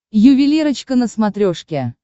ювелирочка на смотрешке